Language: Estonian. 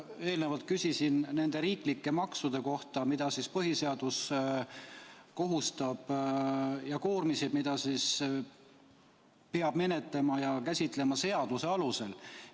Ma eelnevalt küsisin nende riiklike maksude ja koormiste kohta, mida põhiseadus kohustab menetlema seadusena.